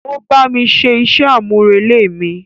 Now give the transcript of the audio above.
O bámi ṣé iṣẹ amurele mi.